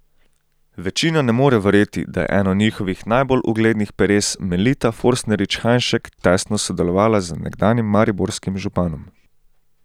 Večina ne more verjeti, da je eno njihovih najbolj uglednih peres Melita Forstnerič Hajnšek tesno sodelovala z nekdanjim mariborskim županom.